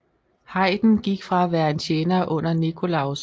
Haydn gik fra at være en tjener under Nikolaus I